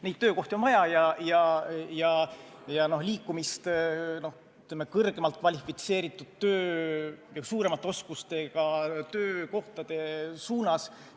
Neid töökohti on vaja ja on vaja liikumist kvalifitseerituma töö ja suuremat oskust vajavate töökohtade suunas.